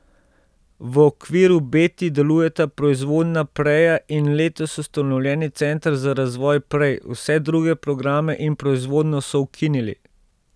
V okviru Beti delujeta proizvodnja preje in letos ustanovljeni center za razvoj prej, vse druge programe in proizvodnjo so ukinili.